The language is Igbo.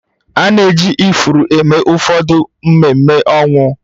A na-eji ifuru eme ụfọdụ ememe ọnwụ